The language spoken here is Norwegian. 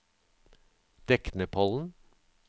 Deknepollen